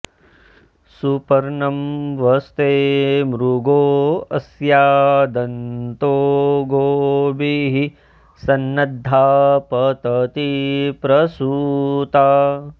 सु॒प॒र्णं व॑स्ते मृ॒गो अ॑स्या॒ दन्तो॒ गोभिः॒ सन्न॑द्धा पतति॒ प्रसू॑ता